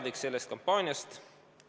Olen sellest kampaaniast teadlik.